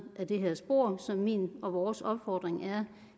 det her spor så min og vores opfordring er